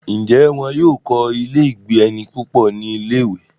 ǹjẹ́ wọ́n yóò kọ́ ilé -ìgbé-ẹni púpọ̀ ní ilé-ìwé?